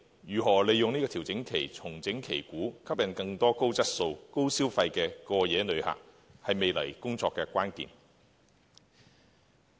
如何利用調整期重整旗鼓，吸引更多高質素、高消費的過夜旅客，是未來工作的關鍵。